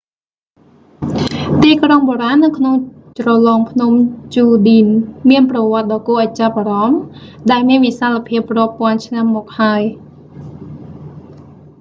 ទីក្រុងបុរាណនៅក្នុងជ្រលងភ្នំ ជូឌីន មានប្រវត្តដ៏គួរឱ្យចាប់អារម្មណ៍ ដែលមានវិសាលភាពរាប់ពាន់ឆ្នាំមកហើយ